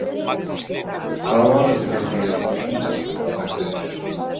Hvaða málefni finnst þér brýnast að taka fyrir?